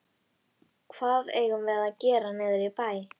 Hvað eigum við að gera niðri í bæ?